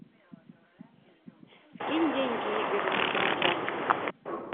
скинь деньги игорю на телефон